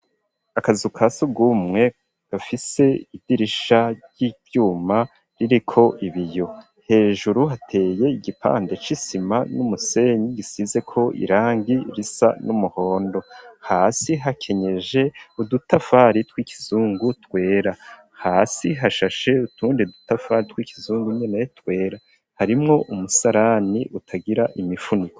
Akazu kasugumwe gafise idirisha ry'ivyuma ririko ibiyo hejuru, hateye igipande c'isima n'umusenyi gisize ko irangi risa n'umuhondo, hasi hakenyeje udutafari tw'ikizungu twera, hasi hashashe utundi dutafari tw'ikizungu nyene twera harimwo umusarani utagira imifuniko.